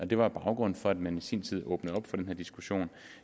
det var baggrunden for at man i sin tid åbnede op for den her diskussion